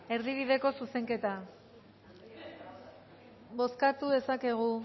erdibideko zuzenketa bozkatu dezakegu